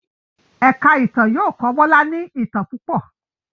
èka ìtàn yóò kọ Bola ní itán púpọ